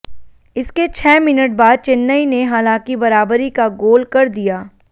इसके छह मिनट बाद चेन्नई ने हालांकि बराबरी का गोल कर दिया